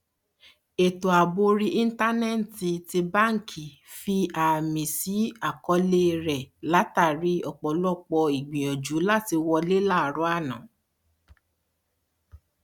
ètò ààbò orí íńtánẹẹtì ti báńkì fi àmì sí àkọọlẹ rẹ látàrí ọpọlọpọ ìgbìyànjú làti wọlé láàárọ àná